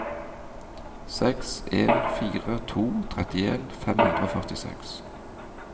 seks en fire to trettien fem hundre og førtiseks